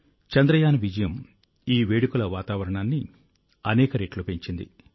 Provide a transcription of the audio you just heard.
చంద్రయాన్ విజయం ఈ వేడుకల వాతావరణాన్ని అనేక రెట్లు పెంచింది